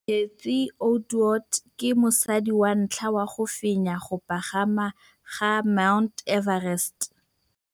Cathy Odowd ke mosadi wa ntlha wa go fenya go pagama ga Mt Everest.